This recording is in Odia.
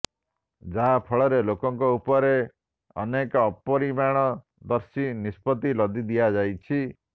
ଯାହା ଫଳରେ ଲୋକଙ୍କ ଉପରେ ଅନେକ ଅପରିଣାମଦର୍ଶୀ ନିଷ୍ପତ୍ତି ଲଦି ଦିଆଯାଇଛି